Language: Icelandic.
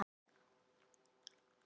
Hvert ætli hann hafi farið?